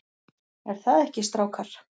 ER ÞAÐ EKKI, STRÁKAR?